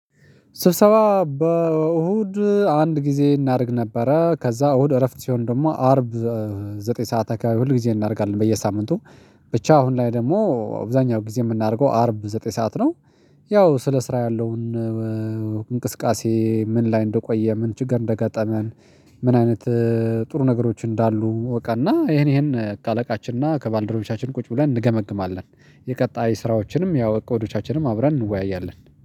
ስብሰባ በእሁድ አንድ ጊዜ እናድርግ ነበረ ከዛ እሁድ እረፍት ሲሆን ደግሞ አርብ ዘጠኝ ሰዓት አካባቢ ሁል ጊዜ እናደርጋለን በየሳምንቱ። ብቻ አሁን ላይ ደግሞ አብዛኛው ጊዜ የምናደርገው አርብ ዘጠኝ ሰዓት ነው። ያው ስለ ስራ ያለውን እንቅስቃሴ ምን ላይ እንደቆየ ምን ችግር እንደገጠመን? ምን አይነት ጥሩ ነገሮች እንዳሉ እወቃና ይሄን ይሄን ከአለቃችንና ከባልደረቦቻችን ቁጭ ብለን እንገመግማለን። የቀጣይ ስራዎችንም ያው እቃዎቻችንም አብረን እንወያያለን